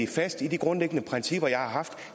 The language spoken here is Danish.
fast i de grundlæggende principper jeg har haft